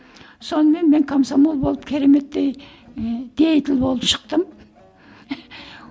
сонымен мен комсомол болып кереметтей ііі деятель болып шықтым